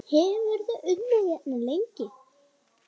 Hefurðu unnið hérna lengi?